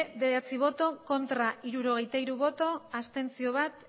bederatzi bai hirurogeita hiru ez bat abstentzio